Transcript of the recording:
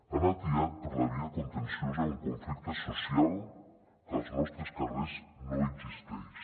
han atiat per la via contenciosa un conflicte social que als nostres carrers no existeix